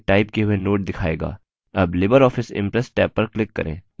tab libreoffice impress tab पर click करें